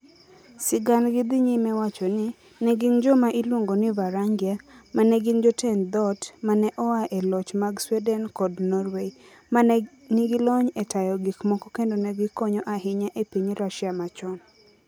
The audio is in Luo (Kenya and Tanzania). Sigandgi dhi nyime wacho ni, ne gin joma iluongo ni "Varangia" ma ne gin jotend dhoot (ma ne oa e loch mag Sweden kod Norway) ma ne nigi lony e tayo gik moko kendo ne gikonyo ahinya e piny Russia machon.